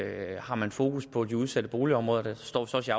af har man fokus på de udsatte boligområder der står så også